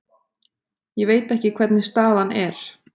Ég veit ekki hvernig staðan er.